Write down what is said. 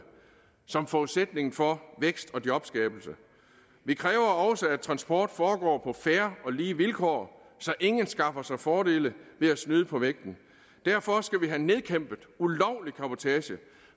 som forudsætning for vækst og jobskabelse vi kræver også at transport foregår på fair og lige vilkår så ingen skaffer sig fordele ved at snyde på vægten derfor skal vi have nedkæmpet ulovlig cabotage